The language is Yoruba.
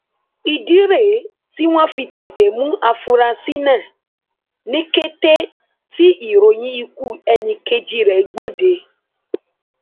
ìdí rèé tí wọn fi tètè mú àfúrásì náà ní kété tí ìròyìn ikú ẹnìkejì rẹ gbòde